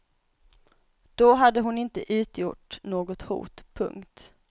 Då hade hon inte utgjort något hot. punkt